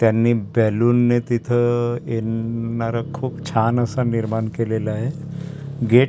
त्यांनी बेलून ने तिथं येणार खूप छान असा निर्माण केलेला आहे गेट --